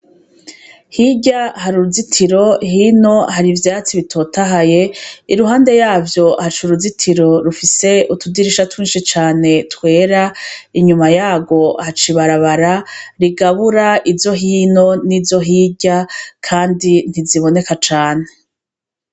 Hirya hari uruzitiro hino hari ivyatsi bitotahaye iruhande yavyo haca uruzitiro rufise utudirisha twishi cane twera inyuma yarwo haca ibarabara rigabura izo hino nizo hirya kandi ntiziboneka cane.